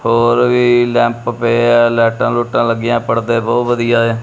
ਹੋਰ ਵੀ ਲੈਂਪ ਪਏ ਆ ਲਾਈਟਾਂ ਲੁਈਟਾਂ ਲੱਗੀਆਂ ਪੜਦੇ ਬਹੁਤ ਵਧੀਆ ਐ।